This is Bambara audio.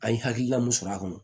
An ye hakilina mun sɔrɔ a kɔnɔ